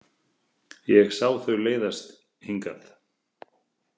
Ég sá þau leiðast hingað.